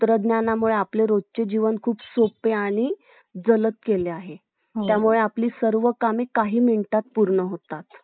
खूप काही गोष्टी आहेत